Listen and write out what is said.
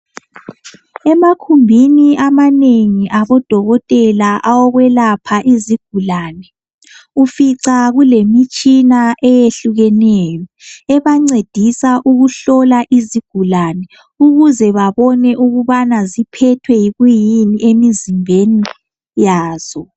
Emakhumbini amanengi abodokotela awokwelapha izigulane, ufica kulemitshina eyehlukeneyo ebancedisa ukuhlola isigulane ukuze babone ukubana ziphethwe yikuyini emizimbeni yazo.